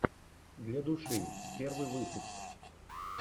для души первый выпуск